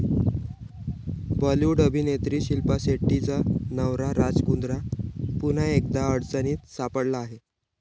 बॉलिवूड अभिनेत्री शिल्पा शेट्टीचा नवरा राज कुंद्रा पुन्हा एकदा अडचणीत सापडला आहे.